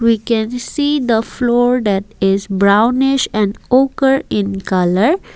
we can see the floor that is brownish and ochre in colour.